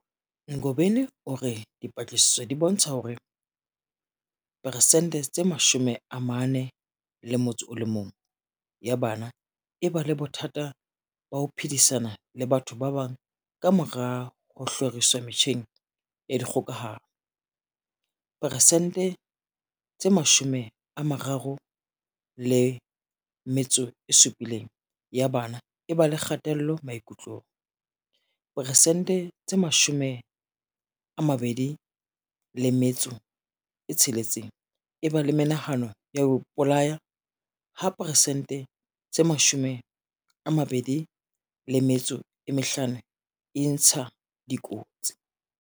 Ngobeni o re dipatlisiso di bontsha hore peresente tse 41 ya bana e ba le bothata ba ho phedisana le batho ba bang kamora ho hloriswa metjheng ya dikgokahano, peresente tse 37 ya bana e ba le kgatello maikutlong, peresente tse 26 e ba le menahano ya ho ipolaya ha peresente tse 25 e intsha dikotsi.